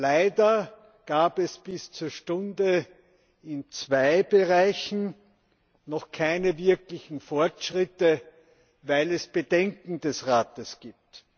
Leider gab es bis zur Stunde in zwei Bereichen noch keine wirklichen Fortschritte, weil es Bedenken des Rates gibt.